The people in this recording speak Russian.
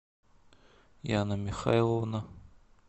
яна михайловна